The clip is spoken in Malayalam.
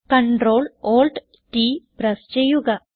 കണ്ട്രോൾ Alt t പ്രസ് ചെയ്യുക